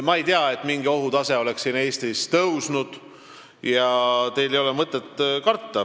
Ma ei tea, et mingi ohutase oleks Eestis tõusnud, ja teil ei ole mõtet karta.